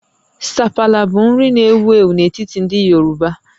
Sapala bụ nri na-ewu ewu n'etiti ndị Yoruba